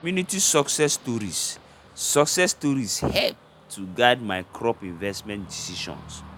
community success stories success stories help to guide my crop investment decision